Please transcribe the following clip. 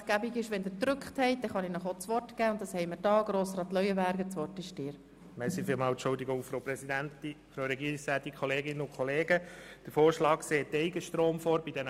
Die Pflicht der Produktion von Eigenstrom sollte aus unserer Sicht auf eigene Energie ausgeweitet werden.